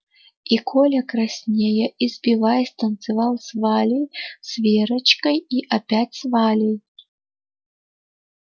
и коля краснея и сбиваясь танцевал с валей с верочкой и опять с валей